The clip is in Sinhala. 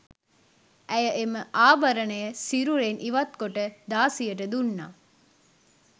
ඇය එම ආභරණය සිරුරෙන් ඉවත් කොට දාසියට දුන්නා.